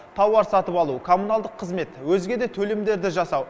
тауар сатып алу коммуналдық қызмет өзге де төлемдерді жасау